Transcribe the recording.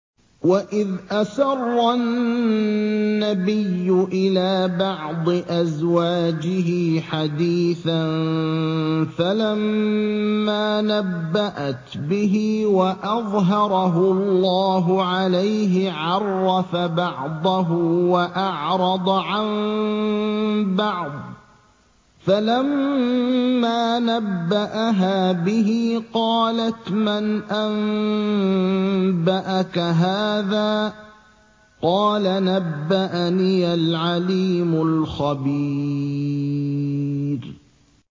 وَإِذْ أَسَرَّ النَّبِيُّ إِلَىٰ بَعْضِ أَزْوَاجِهِ حَدِيثًا فَلَمَّا نَبَّأَتْ بِهِ وَأَظْهَرَهُ اللَّهُ عَلَيْهِ عَرَّفَ بَعْضَهُ وَأَعْرَضَ عَن بَعْضٍ ۖ فَلَمَّا نَبَّأَهَا بِهِ قَالَتْ مَنْ أَنبَأَكَ هَٰذَا ۖ قَالَ نَبَّأَنِيَ الْعَلِيمُ الْخَبِيرُ